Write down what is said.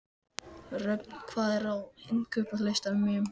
Röfn, hvað er á innkaupalistanum mínum?